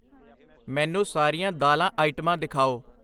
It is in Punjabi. ਮੈਨੂੰ ਸਾਰੀਆਂ ਦਾਲਾਂ ਆਈਟਮਾਂ ਦਿਖਾਓ